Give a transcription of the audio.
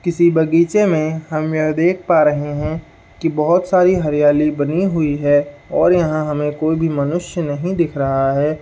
किसी बग़ीचे में हम यह देख पा रहे है कि बहुत सारी हरियाली बनी हुई है और यहाँ हमे कोई भी मनुष्य नहीं दिख रहा है।